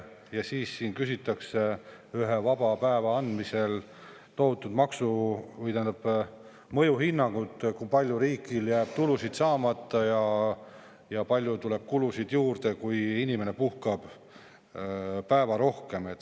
Ja siis küsitakse ühe vaba päeva andmise puhul tohutut mõjuhinnangut selle kohta, kui palju jääb riigil tulusid saamata ja kui palju tuleb kulusid juurde, kui inimene puhkab ühe päeva rohkem.